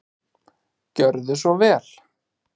Gjörðu svo vel.